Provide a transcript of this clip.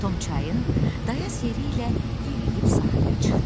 Tom çayın dayaz yeri ilə yeriyib sahilə çıxdı.